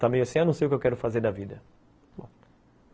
Está meio assim, ah, não sei o que eu quero fazer da vida.